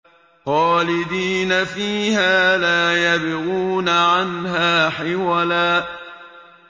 خَالِدِينَ فِيهَا لَا يَبْغُونَ عَنْهَا حِوَلًا